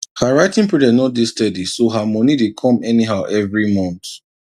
her writing project no dey steady so her money dey come anyhow evri month